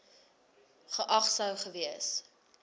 geag sou gewees